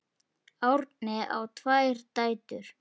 Árni á tvær dætur.